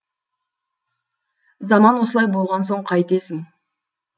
заман осылай болған соң қайтесің